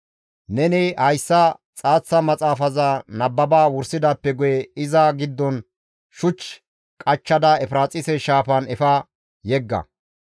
Neni hayssa xaaththa maxaafaza nababa wursidaappe guye iza giddon shuch qachchada Efiraaxise shaafan efa yegga.